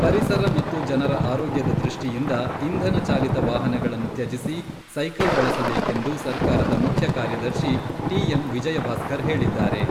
ಪರಿಸರ ಮತ್ತು ಜನರ ಆರೋಗ್ಯದ ದೃಷ್ಠಿಯಿಂದ ಇಂಧನ ಚಾಲಿತ ವಾಹನಗಳನ್ನು ತ್ಯಜಿಸಿ, ಸೈಕಲ್ ಬಳಸಬೇಕೆಂದು ಸರ್ಕಾರದ ಮುಖ್ಯ ಕಾರ್ಯದರ್ಶಿ ಟಿಎಂ ವಿಜಯಭಾಸ್ಕರ್ ಹೇಳಿದ್ದಾರೆ.